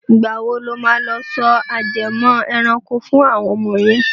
Ìgbà wo lo máa lọ sọ ajẹmọ́ ẹranko fún àwọn ọmọ yẹn.